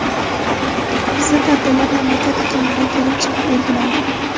Bizda ta’tillar mamlakat iqlimidan kelib chiqib belgilangan.